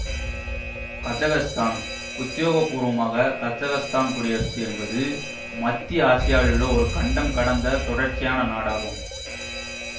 Kazakhstan உத்தியோகபூர்வமாகக் Kazakhstan குடியரசு என்பது மத்திய ஆசியாவிலுள்ள ஒரு கண்டம் கடந்த தொடர்ச்சியான நாடாகும்